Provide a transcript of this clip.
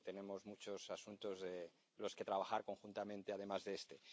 tenemos muchos asuntos en los que trabajar conjuntamente, además de este.